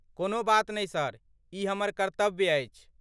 कोनो बात नहि सर, ई हमर कर्त्तव्य अछि।